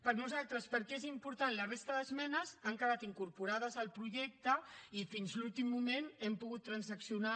per nosaltres perquè és important la resta d’esmenes han quedat incorporades al projecte i fins a l’últim moment hem pogut transaccionar